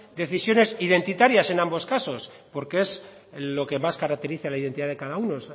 decisiones identitarias en ambos casos porque es lo que más caracteriza la identidad de cada uno